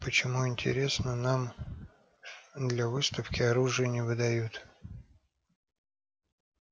почему интересно нам для выставки оружие не выдают